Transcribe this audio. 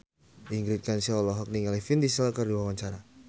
Ingrid Kansil olohok ningali Vin Diesel keur diwawancara